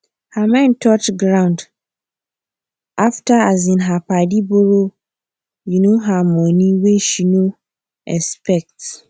her mind touch ground after um her padi borrow um her money wey she no expect